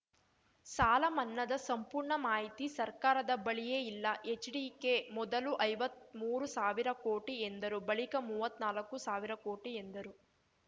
ಸಾಲಮನ್ನಾದ ಸಂಪೂರ್ಣ ಮಾಹಿತಿ ಸರ್ಕಾರದ ಬಳಿಯೇ ಇಲ್ಲ ಎಚ್ಡಿಕೆ ಮೊದಲು ಐವತ್ಮೂರು ಸಾವಿರ ಕೋಟಿ ಎಂದರು ಬಳಿಕ ಮುವತ್ನಾಲ್ಕು ಸಾವಿರ ಕೋಟಿ ಎಂದರು